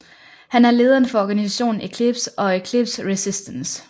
Han er lederen for organisationen Eklipse og Eklipse Resistance